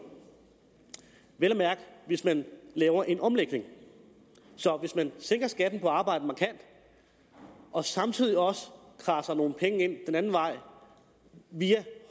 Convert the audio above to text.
vel at mærke hvis man laver en omlægning så hvis man sænker skatten på arbejde markant og samtidig også kradser nogle penge ind den anden vej via